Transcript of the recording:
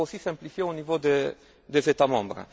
Il faut aussi simplifier au niveau des États membres.